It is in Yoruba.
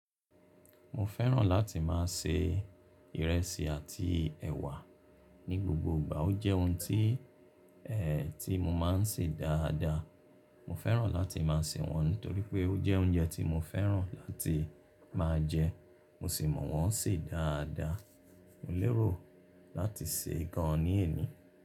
Mo fẹ́ràn láti máa se ìrẹsì àti ẹ̀wà ní gbogbo ìgbà. O jẹ́ oun tí, eeh, tí mọ máa ń ṣe dáadáa. Mo fẹ́ràn láti máa se wọ́n nítorí pé ó jẹ́ oúnjẹ tí mo fẹ́ràn láti máa jẹ, mo sì mọ̀ wọ́n sè dáadáa. Mo lérò láti ṣe gán ní èní.